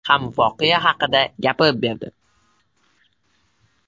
ham voqea haqida gapirib berdi.